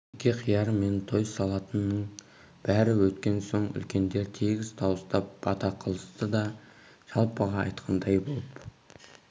некеқияр мен той салтының бәрі өткен соң үлкендер тегіс дауыстап бата қылысты да жалпыға айтқандай боп